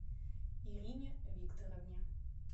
ирине викторовне